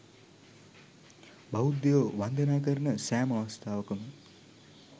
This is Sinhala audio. බෞද්ධයෝ වන්දනා කරන සෑම අවස්ථාවකම